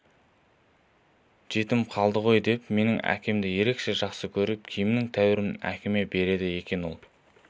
жетім қалды ғой деп менің әкемді ерекше жақсы көріп киімнің тәуірін әкеме береді екен ол